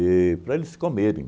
para eles comerem.